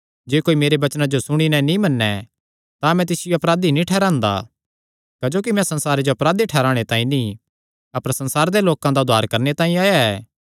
जे कोई मेरे वचनां जो सुणी नैं नीं मने तां मैं तिसियो अपराधी नीं ठैहरांदा क्जोकि मैं संसारे जो अपराधी ठैहराणे तांई नीं अपर संसारे दे लोकां दा उद्धार करणे तांई आया ऐ